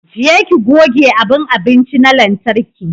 Je ki goge abun abinci na lantarki!